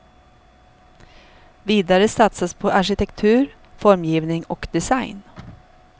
Vidare satsas på arkitektur, formgivning och design.